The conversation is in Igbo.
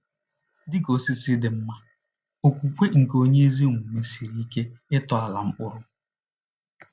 Dị ka osisi dị mma, okwukwe nke onye ezi omume siri ike ịtọala mkpụrụ.